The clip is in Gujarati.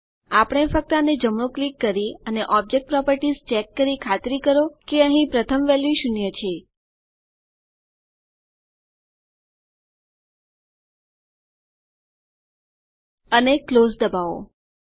આપણે ફક્ત આને જમણું ક્લિક કરી અને ઓબ્જેક્ટ પ્રોપર્ટીઝ ચેક કરી ખાતરી કરો કે અહીં પ્રથમ વેલ્યુ શૂન્ય છે અને ક્લોઝ દબાવો